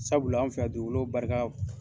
Sabula an fɛ yan dugukolo barika